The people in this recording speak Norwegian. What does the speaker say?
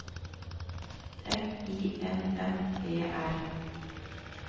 F I N N E R